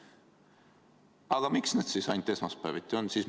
Aga miks nad siis ainult esmaspäeviti on?